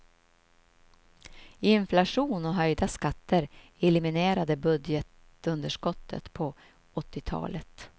Inflation och höjda skatter eliminerade budgetunderskottet på åttiotalet.